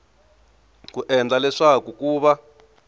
ku endlela leswaku ku va